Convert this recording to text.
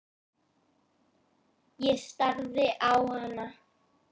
Ég starði á hana.